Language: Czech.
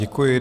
Děkuji.